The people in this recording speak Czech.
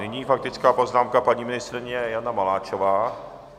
Nyní faktická poznámka paní ministryně Jany Maláčové.